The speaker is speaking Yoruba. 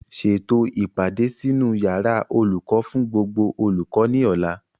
Ṣètò o ìpàdé sínú yàrá olùkọ́ fún gbogbo olùkọ́ ní ọ̀la